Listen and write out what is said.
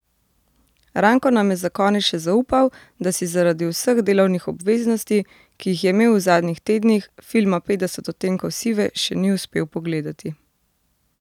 Ranko nam je za konec še zaupal, da si zaradi vseh delovnih obveznosti, ki jih je imel v zadnjih tednih, filma Petdeset odtenkov sive še ni uspel pogledati.